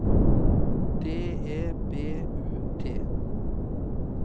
D E B U T